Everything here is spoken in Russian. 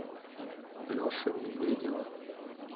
леши медведева